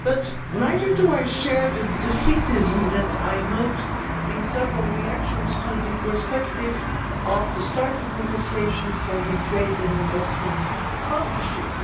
But neither do I share the defeatism that I note in several reactions to the prospect of the start of negotiations on the trade and investment partnership.